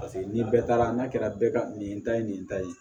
Paseke ni bɛɛ taara n'a kɛra bɛɛ ka nin ta ye nin ta ye